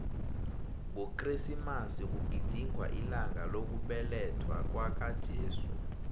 ngokresimasi kugidingwa ilanga lokubelethwakwaka jesu